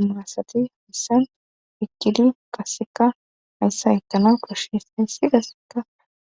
Umaasati haissan pikkili kaseka hayssa itana koshshis hissi kasseka